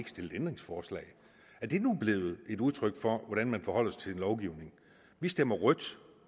stillet ændringsforslag er det nu blevet et udtryk for hvordan man forholder sig til en lovgivning vi stemmer rødt